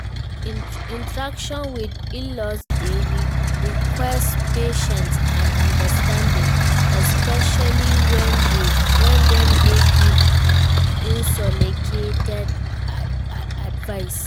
Interacting with in-laws dey require patience and understanding, especially when dem dey give unsolicited advice